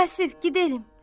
Vasif gidelim.